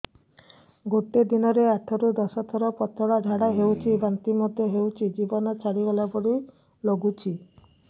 ଗୋଟେ ଦିନରେ ଆଠ ରୁ ଦଶ ଥର ପତଳା ଝାଡା ହେଉଛି ବାନ୍ତି ମଧ୍ୟ ହେଉଛି ଜୀବନ ଛାଡିଗଲା ଭଳି ଲଗୁଛି